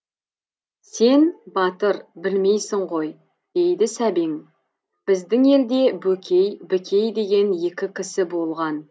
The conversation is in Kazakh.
сен батыр білмейсің ғой дейді сәбең біздің елде бөкей бікей деген екі кісі болған